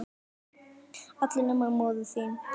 allir nema móðir mín